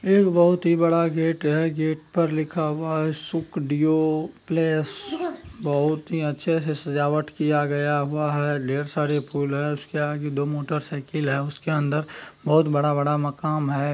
एक बहुत ही बड़ा गेट है गेट पर लिखा हआ है सुखडीओ प्लेस बहुत ही अच्छे से सजावट किया गया हुआ है ढेर सारे फुल है उसके आगे दो मोटर साइकल है उसके अन्दर बहोत बड़ा-बड़ा मकान है।